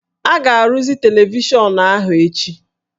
A ga-arụzi televishọnụ ahụ echi